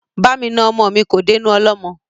Ba mi na ọmọ mi kò dénú ọlọ́mọ.